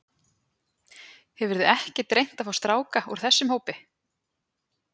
Hefurðu ekkert reynt að fá stráka úr þessum hópi?